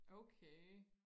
okay